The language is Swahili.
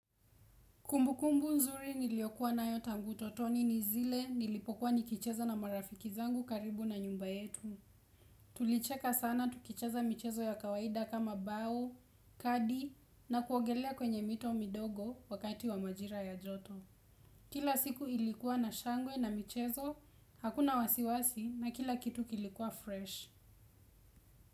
Kumbu kumbu nzuri niliyokuwa nayo tangu utotoni ni zile nilipokuwa nikicheza na marafiki zangu karibu na nyumba yetu. Tulicheka sana tukicheza michezo ya kawaida kama bao, kadi na kuogelea kwenye mito midogo wakati wa majira ya joto. Kila siku ilikuwa na shangwe na michezo, hakuna wasiwasi na kila kitu kilikuwa fresh.